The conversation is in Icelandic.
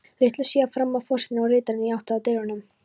Litlu síðar þramma forsetinn og ritararnir í átt að dyrunum.